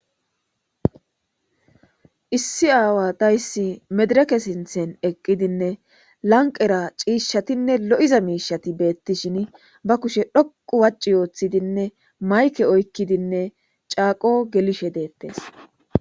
issi aawa dayssi medireke sinthen eqqidinne lanqera ciishshatinne lo7iza miishati beettishin ba kushe dhoqu wacci yooththidinne mayke oykkidinne caaqo gelishe deettes